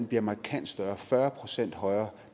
bliver markant større fyrre procent højere